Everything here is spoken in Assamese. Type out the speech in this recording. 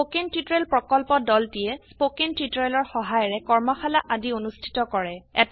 স্পকেন টিউটোৰিয়েল প্ৰকল্পৰ দলটিয়ে স্পকেন টিউটোৰিয়েলৰ সহায়িকাৰে কৰ্মশালা আদি অনুষ্ঠিত কৰে